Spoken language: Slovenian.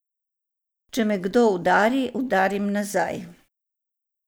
Če me kdo udari, udarim nazaj.